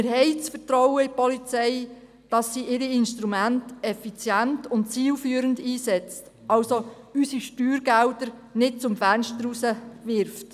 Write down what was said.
Wir vertrauen der Polizei, dass sie ihre Instrumente effizient und zielführend einsetzt, unsere Steuergelder also nicht zum Fenster rauswirft.